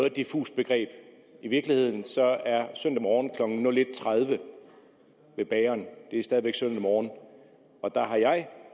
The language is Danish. et diffust begreb i virkeligheden er søndag morgen klokken nul en tredive ved bageren stadig væk søndag morgen og der har jeg